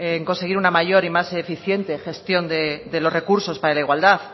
en conseguir una mayor y más eficiente gestión de los recursos para la igualdad